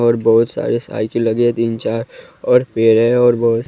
और बहुत सारे साइकिल लगे हैं तीन चार और पेर और वो --